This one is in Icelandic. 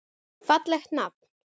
Fallegt nafn.